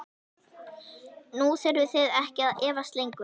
Nú þurfið þið ekki að efast lengur.